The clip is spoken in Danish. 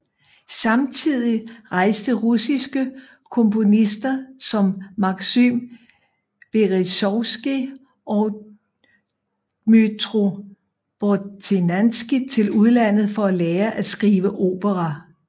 Samtidigt rejste russiske komponister som Maksym Berezovskij og Dmytro Bortnianskij til udlandet for at lære at skrive opera